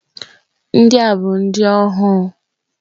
Ndị a bụ ndị ohu.